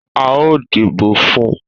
A o dìbò fún